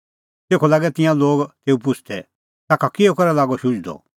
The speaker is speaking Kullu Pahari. तेखअ लागै तिंयां लोग तेऊ पुछ़दै ताखा किहअ करै लागअ शुझदअ